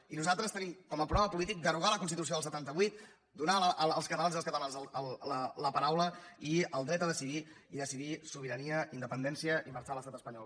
i nosaltres tenim com a programa polític derogar la constitució del setanta vuit donar als catalans i les catalanes la paraula i el dret a decidir i decidir sobirania independència i marxar de l’estat espanyol